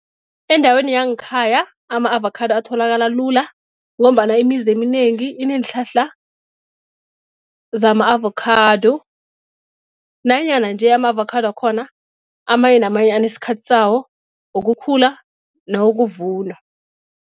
Endaweni yangekhaya ama-avakhado atholakala lula ngombana imizi eminengi ineenhlahla zama-avokhado nanyana nje ama-avakhado wakhona amanye namanye anesikhathi sawo wokukhula nawokuvunwa.